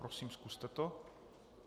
Prosím, zkuste to.